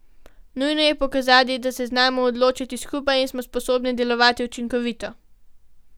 Nujno je pokazati, da se znamo odločati skupaj in smo sposobni delovati učinkovito.